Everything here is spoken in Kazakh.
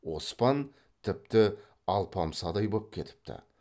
оспан тіпті алпамсадай боп кетіпті